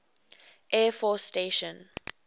air force station